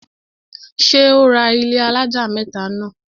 ṣé ó ra ilẹ́ alájà mẹ́tà náà?